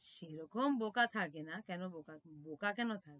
সেরকম বোকা থাকে না, কেন বোকা, বোকা কেনো থাকে,